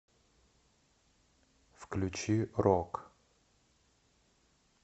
включи рок